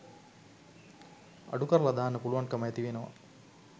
අඩුකරලා දාන්න පුළුවන්කම ඇතිවෙනවා.